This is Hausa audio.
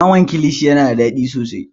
Naman kilishi yana da daɗi sosai.